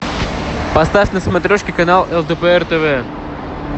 поставь на смотрешке канал лдпр тв